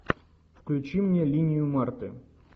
включи мне линию марты